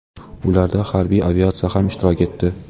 Ularda harbiy aviatsiya ham ishtirok etdi.